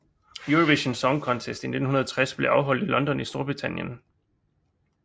Eurovision Song Contest 1960 blev afholdt i London i Storbritannien